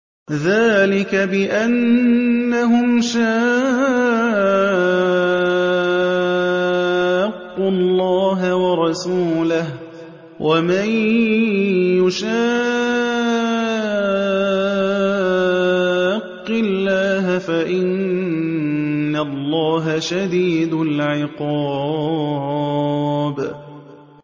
ذَٰلِكَ بِأَنَّهُمْ شَاقُّوا اللَّهَ وَرَسُولَهُ ۖ وَمَن يُشَاقِّ اللَّهَ فَإِنَّ اللَّهَ شَدِيدُ الْعِقَابِ